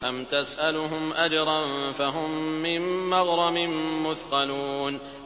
أَمْ تَسْأَلُهُمْ أَجْرًا فَهُم مِّن مَّغْرَمٍ مُّثْقَلُونَ